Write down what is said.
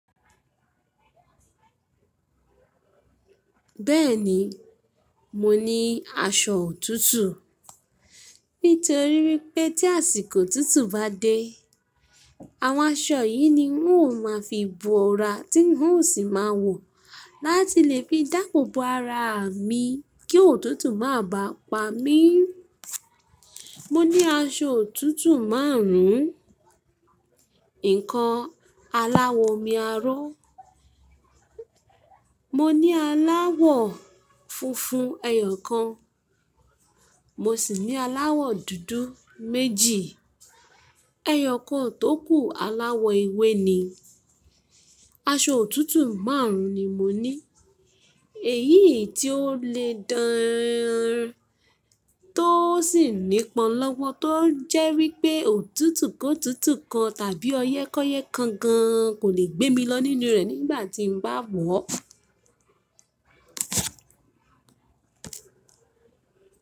Bẹ́ẹ̀ni, mo ní aṣọ òtútù. Nítorí wípé tí àsìkò òtútù bá dé àwọn aṣọ yìí ni ń ó máa fi bu ọra tí ń ó sì máa wọ̀ láti lè fi dáàbò bo ara mi kí òtútù má bá pa mí. Mo ní aṣọ òtútù márùn ún. Ǹkan aláwọ̀ omi aró, mo ní aláwọ̀ funfun ẹyọ kan, mo sì ní aláwọ̀ dúdú méjì. Ẹyọ kan tókù aláwọ̀ ewé ni. Aṣọ òtútù márùn ún ni mo ní. Èyí tí ó le dán, tó sì ní pọn lọ́wọ́ tó jẹ́ wípé òtútù kóòtútù kan tàbí ọyẹ́kọ́yẹ́ kan gan kò lè gbé mi lọ nínú rẹ̀ nígbà tí mo bá wọ̀ ọ́.